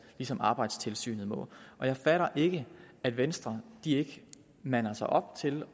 ligesom arbejdstilsynet må jeg fatter ikke at venstre ikke mander sig op til